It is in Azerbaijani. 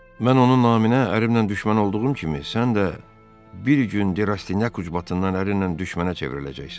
Mən onun naminə ərimlə düşmən olduğum kimi, sən də bir gün De Rastinyak ücbatından ərinlə düşmənə çevriləcəksən.